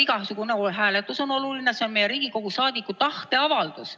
Tegelikult igasugune hääletus on oluline, see on meie, Riigikogu liikmete tahteavaldus.